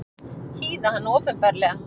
Hýða hann opinberlega!